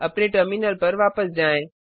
अपने टर्मिनल पर वापस जाएँ